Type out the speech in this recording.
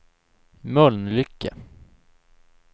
Mölnlycke